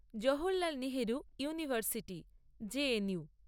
Jawaharlal Nehru university JNU